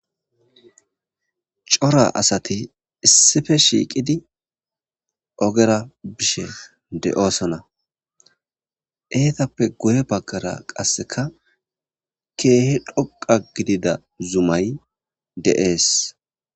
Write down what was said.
cora asati issife shiiqidi ogera bishe de7oosona eetappe goye baggara qasseka keehi dhoqa gidida zumay deees